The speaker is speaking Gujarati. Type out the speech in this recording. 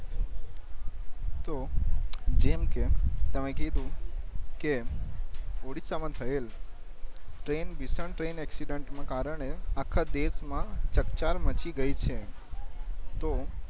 તો જેમ કે તમે કીધું કે ઓડીસ્સા માં થયેલ ટ્રેન ભીષણ ટ્રેન એક્સિડેન્ટ ના કારણે આખા દેશ માં ચકચાર મચી ગઈ છે તો